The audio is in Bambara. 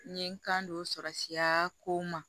N ye n kan don o sɔrɔsira ko ma